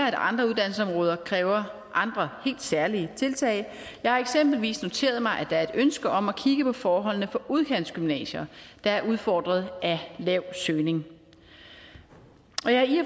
at andre uddannelsesområder kræver andre helt særlige tiltag jeg har eksempelvis noteret mig at der er et ønske om at kigge på forholdene for udkantsgymnasier der er udfordret af lav søgning og